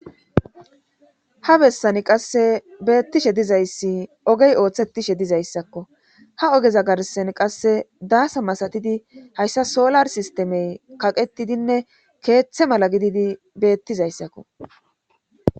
Ha bessani qasse beettishe dizayssi ogey ooththetishe dizayssakko ha ogeza garsan qasse daasa masatidi hayssa solar sistemey kaqetidinne keeththe mala gididi beettizayssakko.